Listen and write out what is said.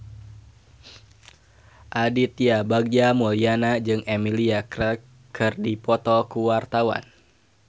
Aditya Bagja Mulyana jeung Emilia Clarke keur dipoto ku wartawan